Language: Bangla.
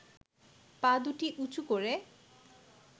পা দুটি উঁচু করে